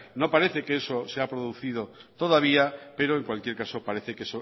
no parece que eso se haya producido todavía pero en cualquier caso parece que